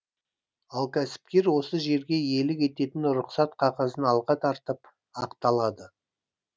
ал кәсіпкер осы жерге иелік ететін рұқсат қағазын алға тартып ақталады